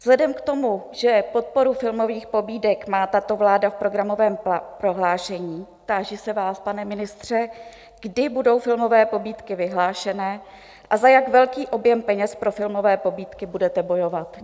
Vzhledem k tomu, že podporu filmových pobídek má tato vláda v programovém prohlášení, táži se vás, pane ministře, kdy budou filmové pobídky vyhlášené a za jak velký objem peněz pro filmové pobídky budete bojovat?